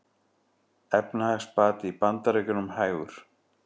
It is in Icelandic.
Efnahagsbati í Bandaríkjunum hægur